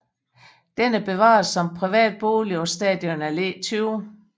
Den er bevaret som privat bolig på Stadion Alle 20